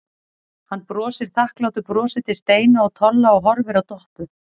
Hann brosir þakklátu brosi til Steina og Tolla og horfir á Doppu.